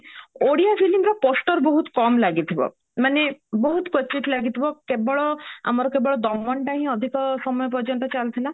Odia film ର poster ବହୁତ କମ ଲାଗିଥିବ ମାନେ ବହୁତ କୋଚିତ ଲାଗିଥିବ କେବଳ ଆମର କେବଳ ଦମନଟା ହିଁ ଅଧିକ ସମୟ ପର୍ଯ୍ୟନ୍ତ ଚଳୁଥିଲା